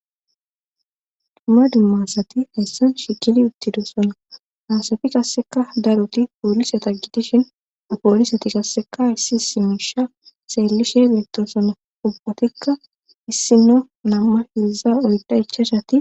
Dumma dummasati hayssan shikili uttidosona naasafi kasseka daroti poolisata gitishin poolisati kasseka issi isimusha seellishe beettosona ubbhatikka issino namma hilza oydda ichashati